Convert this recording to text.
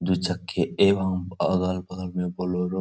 दू-चक्के एवं अगल-बगल में बोलेरो --